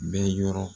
Bɛ yɔrɔ